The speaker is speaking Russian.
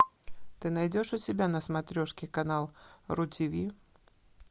ты найдешь у себя на смотрешке канал ру тв